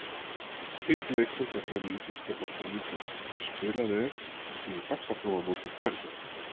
Einn leikur fer fram í íslenska boltanum í kvöld, en spilað er í Faxaflóamóti kvenna.